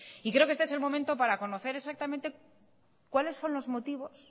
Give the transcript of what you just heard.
creo que este es el momento para conocer exactamente cuáles son los motivos